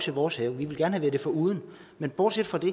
i vores have vi ville gerne have været det foruden men bortset fra det